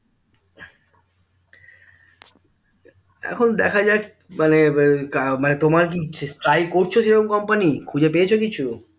এখন দেখাযাক মানে এর তোমার কি try করছো সেরকম company খুঁজে পেয়েছো কিছু